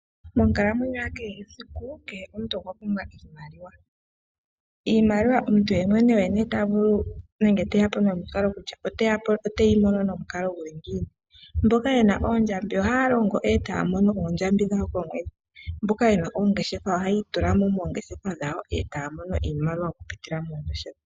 Monkalamwenyo yakehe esiku kehe omuntu okwa pumbwa iimaliwa . Omuntu yemwene oye te ya po nomukalo gokuyimona. Mboka ye na oondjambi ohaya longo e taya oondjambi dhawo komwedhi. Mboka ye na oongeshefa ohayi itula mo mongeshefa dhawo e taya mono iimaliwa okuziilila mongeshefa dhawo.